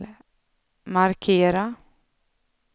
markera